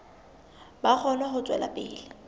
ba kgone ho tswela pele